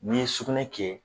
N'i ye sukunɛ kɛ